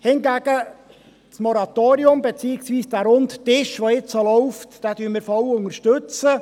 Hingegen unterstützen wir das Moratorium, beziehungsweise den Runden Tisch, der nun läuft, vollumfänglich.